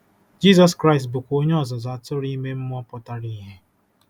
Jizọs Kraịst cs bụkwa Onye Ọzụzụ Atụrụ ime mmụọ pụtara ìhè.